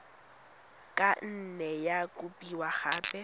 ka nne ya kopiwa gape